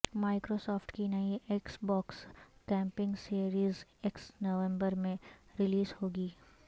micro soft کی نئی Xbox gaming series X نومبر میں ریلیز ہو گی